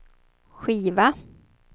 skiva